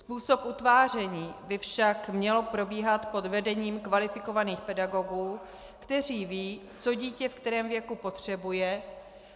Způsob utváření by však měl probíhat pod vedením kvalifikovaných pedagogů, kteří vědí, co dítě ve kterém věku potřebuje,